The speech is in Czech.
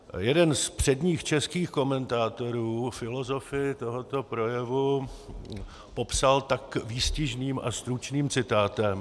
Jeden z předních českých komentátorů filozofii tohoto projevu popsal tak výstižným a stručným citátem...